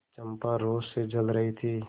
चंपा रोष से जल रही थी